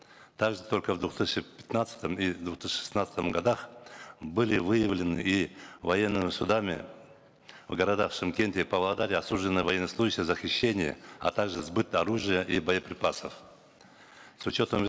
также только в две тысячи пятнадцатом и две тысячи шестнадцатом годах были выявлены и военными судами в городах шымкенте павлодаре осуждены военнослужащие за хищение а также сбыт оружия и боеприпасов с учетом